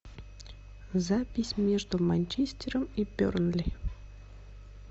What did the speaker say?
запись между манчестером и бернли